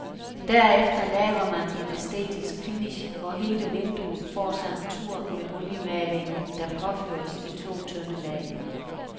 Derefter laver man en æstetisk finish, hvor hele vinduet får sig en tur med oliemalingen, der påføres i to tynde lag.